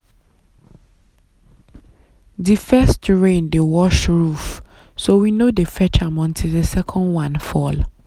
the first rain dey wash roof so we no dey fetch am until the second one fall.